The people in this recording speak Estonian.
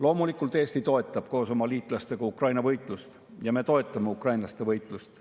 Loomulikult, Eesti toetab koos oma liitlastega Ukraina võitlust, me toetame ukrainlaste võitlust.